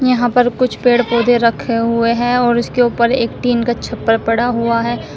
यहां पर कुछ पेड़ पौधे रखे हुए हैं और उसके ऊपर एक टीन का छप्पर पड़ा हुआ है।